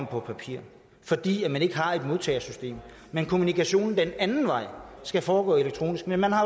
på papir fordi man ikke har et modtagersystem men kommunikationen den anden vej skal foregå elektronisk men man har